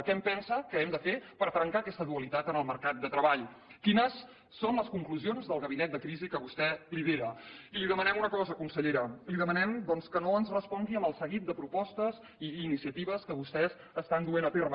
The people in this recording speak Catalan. què pensa que hem de fer per trencar aquesta dualitat en el mercat de treball quines són les conclusions del gabinet de crisi que vostè lidera i li demanem una cosa consellera li demanem que no ens respongui amb el seguit de propostes i iniciatives que vostès estan duent a terme